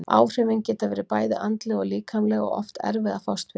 Áhrifin geta verið bæði andleg og líkamleg og oft erfið að fást við.